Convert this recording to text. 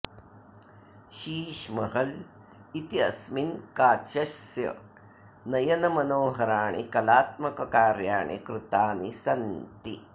शीश महल इत्यस्मिन् काचस्य नयनमनोहराणि कलात्मककार्याणि कृतानि सन्ति